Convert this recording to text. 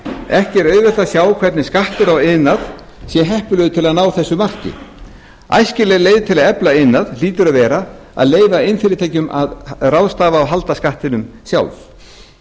ekki er auðvelt að sjá hvernig skattur á iðnaðinn sé heppilegur til að ná þessu marki æskilegri leið við að efla iðnaði hlýtur að vera sú að leyfa iðnfyrirtækjunum að ráðstafa og halda skattinum sjálf